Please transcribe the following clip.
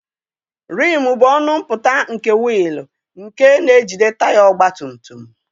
Rimụ bụ ọnụ mpụta nke wiil nke na-ejide taya ọgbatumutum.